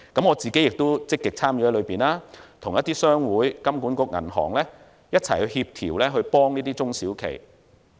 我亦積極參與其中，與商會、金管局及銀行一同協調，協助這些中小企。